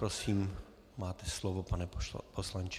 Prosím, máte slovo, pane poslanče.